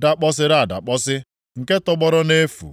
dakpọsịrị adakpọsị, nke tọgbọrọ nʼefu.